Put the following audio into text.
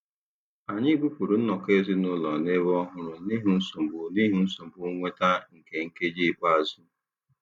Anyị bupụrụ nnọkọ ezinụlọ n'ebe ọhụrụ n'ihi nsogbu n'ihi nsogbu nnweta nke nkeji ikpeazụ.